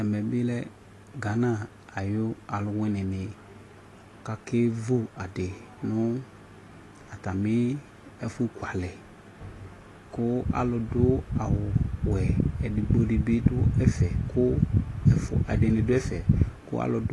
Ɛmɛ bi lɛ Gana ayʋ alʋwini ni kakevu adi nʋ atami ɛfʋkualɛ kʋ alʋ dʋ awu wɛ ɛdigbo di bi dʋ ɛfɛ kʋ ɛfʋ ɛdini dʋ ɛfɛ kʋ alʋ dʋ